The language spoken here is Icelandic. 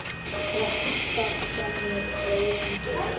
Rokkað fram í rauðan dauðann